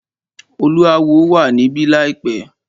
Oluawo wà níbí láìpẹ́.